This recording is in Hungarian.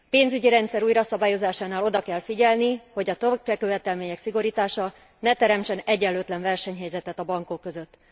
A pénzügyi rendszer újraszabályozásánál oda kell figyelni, hogy a tőkekövetelmények szigorítása ne teremtsen egyenlőtlen versenyhelyzetet a bankok között.